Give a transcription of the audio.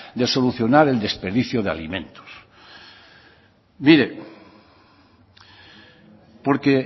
de solucionar el desperdicio de alimentos mire porque